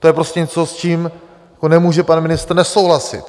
To je prostě něco, s čím nemůže pan ministr nesouhlasit.